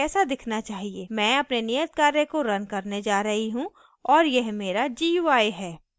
मैं अपने नियतकार्य को रन करने जा रही हूँ और यह मेरा gui है